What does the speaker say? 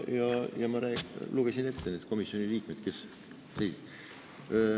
Ma lugesin ette need komisjoni liikmed, kes hääletasid.